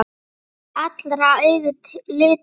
Allra augu litu til hennar.